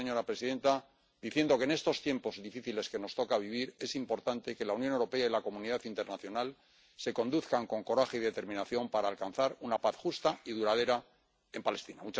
Termino, señora presidenta, diciendo que, en estos tiempos difíciles que nos toca vivir, es importante que la Unión Europea y la comunidad internacional se conduzcan con coraje y determinación para alcanzar una paz justa y duradera en Palestina.